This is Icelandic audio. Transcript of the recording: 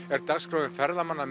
er dagskráin ferðamanna